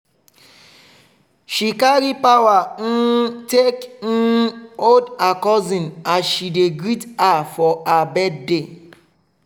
she carry power um take um hold her cousin as she dey greet her for her birthday.